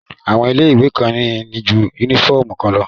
Àwọn ilé ìwé kan ní ju yúnífọ̀mù kan lọ